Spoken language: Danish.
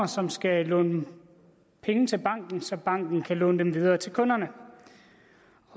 som skal låne penge til banken så banken kan låne dem videre til kunderne